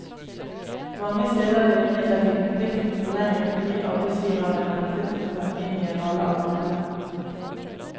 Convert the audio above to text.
Mange steder ble imidlertid konflikten forlenget fordi arbeidsgiverne nektet å ta inn igjen alle arbeiderne.